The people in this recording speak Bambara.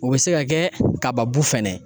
O bɛ se ka kɛ kaba bu fɛnɛ.